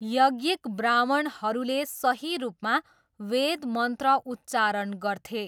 यज्ञिक ब्राह्मणहरूले सही रूपमा वेद मन्त्र उच्चारण गर्थे।